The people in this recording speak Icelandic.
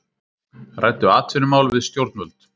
Ræddu atvinnumál við stjórnvöld